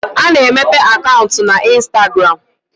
A na-emepe akaụntụ na instagram